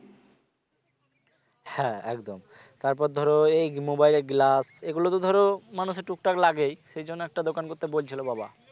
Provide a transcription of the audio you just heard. হ্যাঁ একদম তারপর ধরো এই mobile এর glass এগুলো তো ধরো মানুষের টুক টাক লাগেই সেই জন্য একটা দোকান করতে বলছিল বাবা